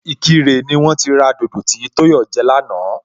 Ìkirè ni wón ti ra dodo tí Tóyọ̀ jẹ lánàá